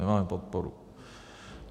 Nemáme podporu.